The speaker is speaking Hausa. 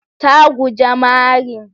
Ta guje marin.